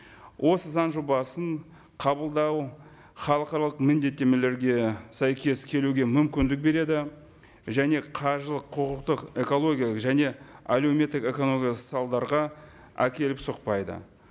осы заң жобасын қабылдау халықаралық міндеттемелерге сәйкес келуге мүмкіндік береді және қаржылық құқықтық экологиялық және әлеуметтік экономикалық салдарға әкеліп соқпайды